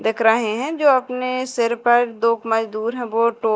देख रहे है जो अपने सिर पर दो प मजदूर है वो टो--